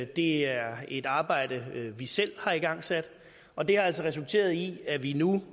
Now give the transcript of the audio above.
det er et arbejde vi selv har igangsat og det har altså resulteret i at vi nu